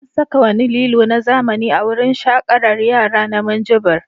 An saka wani lilo na zamani a wurin shaƙarar yara na Minjibir.